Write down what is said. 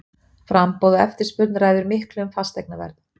Framboð og eftirspurn ræður miklu um fasteignaverð.